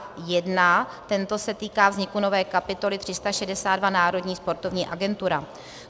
Tento se týká vzniku nové kapitoly 362 Národní sportovní agentura.